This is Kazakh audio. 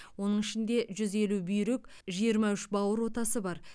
оның ішінде жүз елу бүйрек жиырма үш бауыр отасы бар